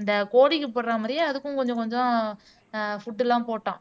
இந்த கோழிக்கு போடுற மாதிரியே அதுக்கும் கொஞ்சம் கொஞ்சம் ஆஹ் ஃபுட் எல்லாம் போட்டோம்